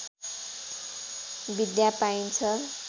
विद्या पाइन्छ